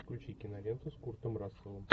включи киноленту с куртом расселом